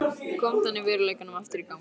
Kom þannig veruleikanum aftur í gang.